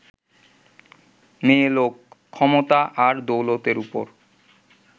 মেয়েলোক, ক্ষমতা আর দৌলতের ওপর